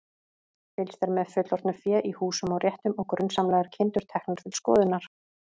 Fylgst er með fullorðnu fé í húsum og réttum og grunsamlegar kindur teknar til skoðunar.